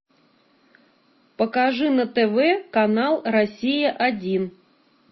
покажи на тв канал россия один